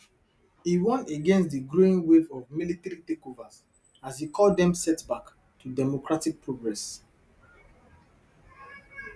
e warn against di growing wave of military takeovers as e call dem setback to democratic progress